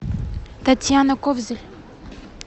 татьяна ковзель